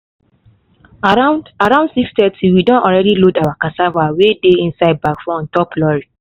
around around six thirty we don already load our cassava wey dey inside bag for on top lorry